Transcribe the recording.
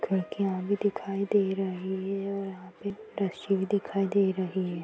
खिड़कियाँ भी दिखाई दे रही है और एक रस्सी भी दिखाई दे रही है।